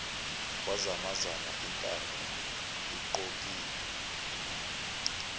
kwazamazama intaba iqokli